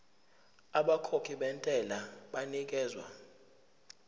abakhokhi bentela banikezwa